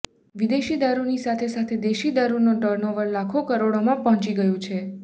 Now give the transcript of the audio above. વિદેશી દારૂની સાથે સાથે દેશી દારૂનું ટર્નઓવર લાખો કરોડોમાં પહોંચી ગયું છે